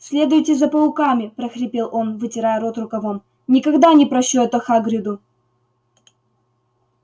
следуйте за пауками прохрипел он вытирая рот рукавом никогда не прощу это хагриду